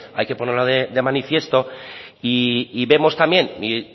hay que ponerlo de manifiesto y vemos también